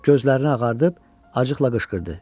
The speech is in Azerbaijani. Gözlərini ağardıp acıqla qışqırdı.